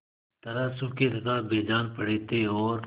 तरह सूखे तथा बेजान पड़े थे और